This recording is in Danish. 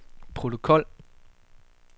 protokol